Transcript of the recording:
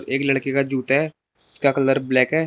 एक लड़के का जूता है जिसका कलर ब्लैक है।